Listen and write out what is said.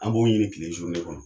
An b'o ɲini kile kɔnɔ.